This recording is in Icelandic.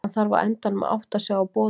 Hann þarf á endanum að átta sig á boðunum.